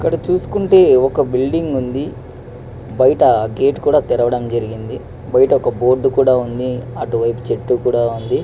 ఇక్కడ చూసుకుంటే ఒక బిల్డింగ్ వుంది. బయట గేట్ కూడా తెరువడం జరిగింది. బయట ఒక బోర్డు కూడా వుంది.అటువైఫు చెట్టు కుదేసా ఉంది.